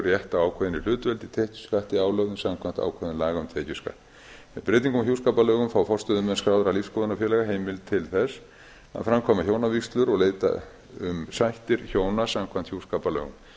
rétt á ákveðinni hlutdeild í tekjuskatti álögðum samkvæmt ákvæðum laga um tekjuskatt með breytingum á hjúskaparlögum fá forstöðumenn skráðra lífsskoðunarfélaga heimild til þess að framkvæma hjónavígslur og leita um sættir hjóna samkvæmt hjúskaparlögum